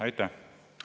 Aitäh!